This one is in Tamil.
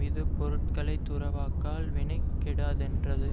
இது பொருள்களை துறவாக்கால் வினை கெடாதென்றது